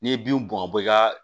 N'i ye bin bɔn ka bɔ i ka